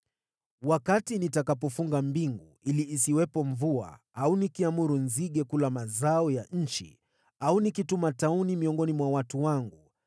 “Wakati nitakapofunga mbingu ili isiwepo mvua, au nikiamuru nzige kula mazao ya nchi au nikituma tauni miongoni mwa watu wangu,